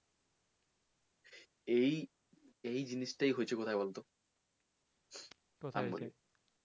এই এই জানিশটাই হচ্ছে